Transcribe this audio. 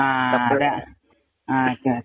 ആ അതാ, okay, okay